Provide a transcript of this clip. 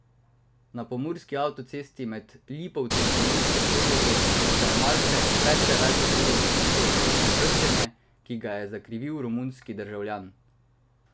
Na pomurski avtocesti med Lipovci in Mursko Soboto se je malce pred deveto uro zgodilo verižno trčenje, ki ga je zakrivil romunski državljan.